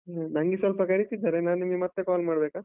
ನಂಗೆ ಸ್ವಲ್ಪ ಕರೀತಿದ್ದಾರೆ, ನಾನ್ ನಿಮ್ಗೆ ಮತ್ತೆ call ಮಾಡ್ಬೇಕಾ?